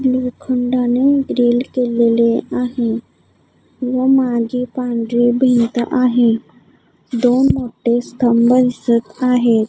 लोखंडाने grill केलेले आहे व मागे पांढरी भिंत आहे दोन मोठे स्तंभ दिसत आहेत.